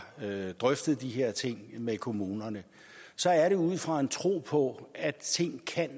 drøftet de her ting med kommunerne så er det ud fra en tro på at tingene